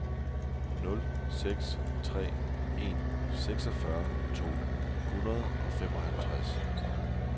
nul seks tre en seksogfyrre to hundrede og femoghalvtreds